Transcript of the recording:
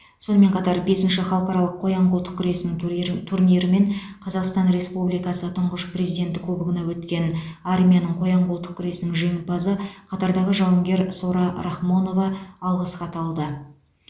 сонымен қатар бесінші халықаралық қоян қолтық күресінің турнир турнирі мен қазақстан республикасы тұңғыш президенті кубогына өткен армияның қоян қолтық күресінің жеңімпазы қатардағы жауынгер сора рахмонова алғыс хат алды